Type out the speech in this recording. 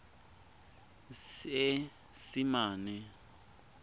seesimane